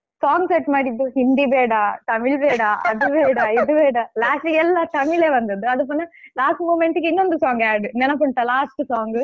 Song set ಮಾಡಿದ್ದು ಹಿಂದಿ ಬೇಡ ತಮಿಳ್ ಬೇಡ ಅದು ಬೇಡ ಇದು ಬೇಡ last ಗೆ ಎಲ್ಲಾ ತಮಿಳೇ ಬಂದದ್ದು ಅದು ಪುನಃ last moment ಗೆ ಇನ್ನೊಂದು song add ನೆನಪುಂಟಾ last song ?